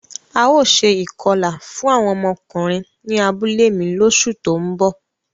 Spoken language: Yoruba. Ào ṣe ikọla fun awọn ọmọkunrin ni abule mi loṣu to nbo.